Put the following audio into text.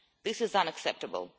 This is unacceptable.